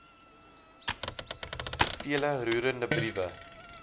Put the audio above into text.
vele roerende briewe